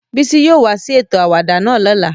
Bisi yóò wa si eto awada náa lola.